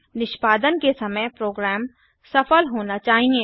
निष्पादन के समय प्रोग्राम सफल होना चाहिए